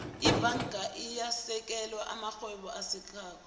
ibhanga iyawasekela amarhwebo asakhasako